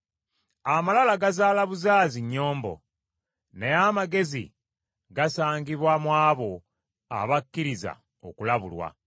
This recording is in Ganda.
Amalala gazaala buzaazi nnyombo, naye amagezi gasangibwa mu abo abakkiriza okulabulwa.